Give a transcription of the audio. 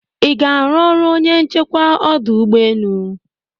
iga aru ọrụ onye nchekwa ọdụ ụgbọ enu?